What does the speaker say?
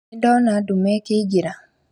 Nĩndona nduma ĩkĩingĩra